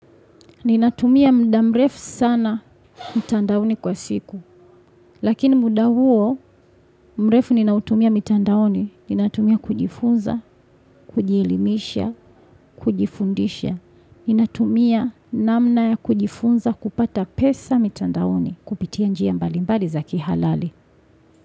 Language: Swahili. Ninatumia muda mrefu sana mtandaoni kwa siku. Lakini muda huo mrefu ninautumia mitandaoni. Ninatumia kujifunza, kujielimisha, kujifundisha. Ninatumia namna ya kujifunza kupata pesa mitandaoni. Kupitia njia mbalimbali za kihalali.